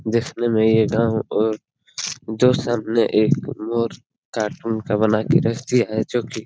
देखने में ये गांव और कार्टून का बना कर रख दिया है जो की --